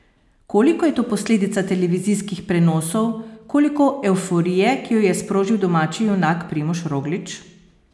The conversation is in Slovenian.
Koliko je to posledica televizijskih prenosov, koliko evforije, ki jo je sprožil domači junak Primož Roglič?